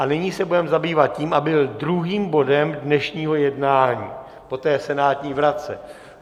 A nyní se budeme zabývat tím, aby byl druhým bodem dnešního jednání po té senátní vratce.